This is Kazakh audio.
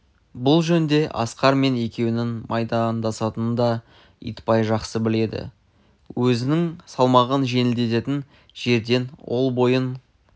бұл жөнде асқар мен екеуінің майдандасатынын да итбай жақсы біледі өзінің салмағын жеңілдететін жерден ол бойын